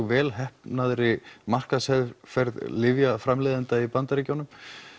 vel heppnaðri markaðsherferð lyfjaframleiðenda í Bandaríkjunum